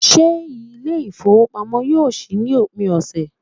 Se ile ifowopamo yoo si ni opin ose